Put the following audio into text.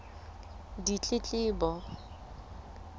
ditletlebo